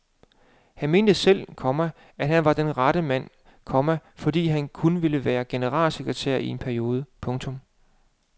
Han mente selv, komma at han var den rette mand, komma fordi han kun ville være generalsekretær i en periode. punktum